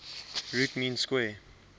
root mean square